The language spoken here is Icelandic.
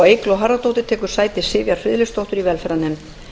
eygló harðardóttir tekur sæti sivjar friðleifsdóttur í velferðarnefnd